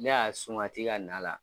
Ne y'a sunkati ka n'a la.